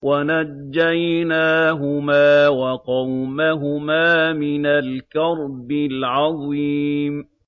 وَنَجَّيْنَاهُمَا وَقَوْمَهُمَا مِنَ الْكَرْبِ الْعَظِيمِ